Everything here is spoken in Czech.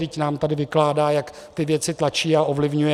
Vždyť nám tady vykládá, jak ty věci tlačí a ovlivňuje.